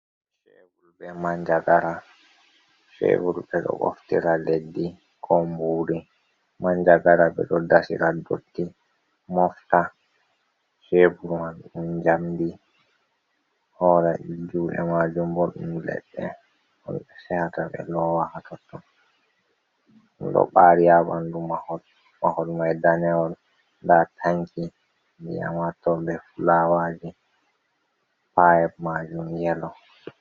cewul be manjagara cevul ɓe ɗo boftira leddi ko mburi. Manjagara ɓe ɗo dasira dotti mofta. Cebul man don jamdi hola jude majumbo ɗon leɗɗe on ɓe sehata ɓe lowa hatotto. Do ɓari ha bandu mahol mai danewol nda tanki biyamatol be fulawaji pa’eb majum yelo.